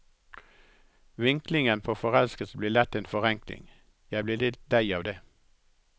Vinklingen på forelskelse blir lett en forenkling, jeg blir litt lei av det.